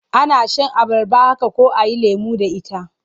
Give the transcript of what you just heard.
Ana shan abarba haka ko a yi lemo da ita.